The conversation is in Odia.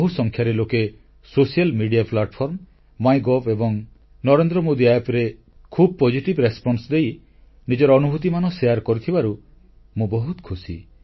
ବହୁସଂଖ୍ୟାରେ ଲୋକେ ସାମାଜିକ ଗଣମାଧ୍ୟମ ମାଇଗଭ ଏବଂ ନରେନ୍ଦ୍ରମୋଦୀ App ରେ ଖୁବ ଗଠନମୁଳକ ପ୍ରତିକ୍ରିୟା ଦେଇ ନିଜର ଅନୁଭୂତିମାନ ବାଣ୍ଟିଥିବାରୁ ମୁଁ ବହୁତ ଖୁସି